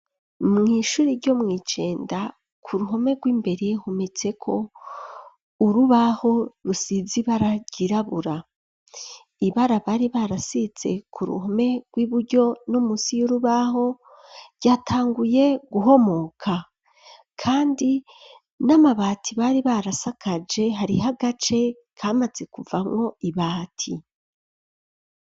Mw'ishuri ryo mw'ijenda ku ruhome rw'imbere hometseko urubaho rusize ibara ryirabura ibara bari barasize ku ruhome rw'iburyo no musi y'urubaho ryatanguye guhomoka kandi n'amabati bari barasakaje hariho agace kamaze kuvamwo ibati.